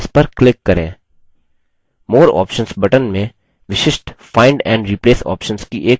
more options button में विशिष्ट find and replace options की एक सूची होती है